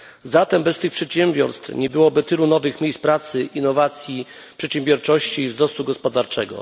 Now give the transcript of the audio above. Zatem bez tych przedsiębiorstw nie byłoby tylu nowych miejsc pracy, innowacji, przedsiębiorczości i wzrostu gospodarczego.